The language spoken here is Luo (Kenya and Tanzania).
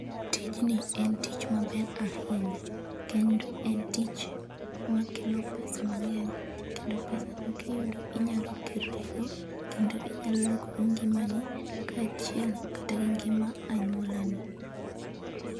Tijni en tich maber ahinya kendo en tich makelo pesa mang'eny kendo pesa no kiyudo inyalo gerri go kendo inyalo lokogo ngimani kaachiel kata gi ngima anyuolani.